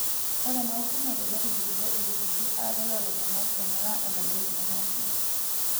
Ore enautunoto netujurutuo iltururi are loolairemok eing'uraa eneba eng'eno natii.